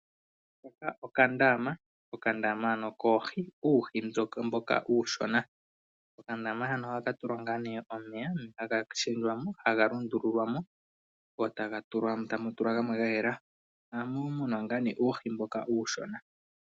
Hoka okandaama, okandaama ano koohi, uuhi mboka uushona. Okandama hano ohaka tulwa omeya, omeya haga lundululwa mo, mo tamu tulwa gamwe ga yela. Ohamu munwa uuhi mboka uushona.